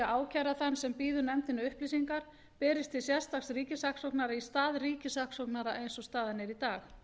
ákæra þann sem býður nefndinni upplýsingar berist til sérstaks ríkissaksóknara í stað ríkissaksóknara eins og staðan er í dag